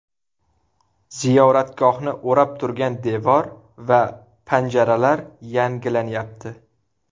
Ziyoratgohni o‘rab turgan devor va panjaralar yangilanyapti.